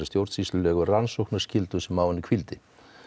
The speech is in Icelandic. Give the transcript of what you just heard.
stjórnsýslulegu rannsóknarskyldum sem á henni hvíldi